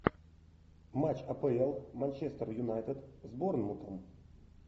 матч апл манчестер юнайтед с борнмутом